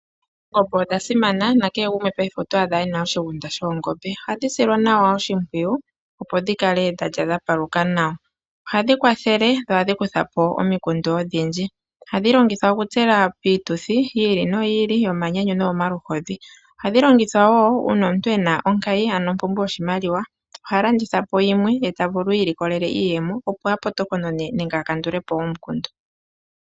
Oongombe odha simana, nakehe gumwe paife oto adha e na oshigunda shoongombe. Ohadhi silwa oshimpwiyu opo dhi kale dha lya dha paluka nawa. Ohadhi kwathele dho ohadhi kutha po omikundu odhindji. Ohadhi longithwa okutsela piituthi yi ili noyi ili yomanyanyu noyomaluhodhi. Ohadhi longithwa wo uuna omuntu e na onkayi ano ompumbwe yoshimaliwa, oha landitha yimwe ye ta vulu iilikolele iiyemo opo a potokonone nenge a kandule po omukundu.